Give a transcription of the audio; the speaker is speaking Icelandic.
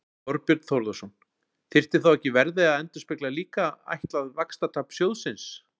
Þorbjörn Þórðarson: Þyrfti þá ekki verðið að endurspegla líka ætlað vaxtatap sjóðsins?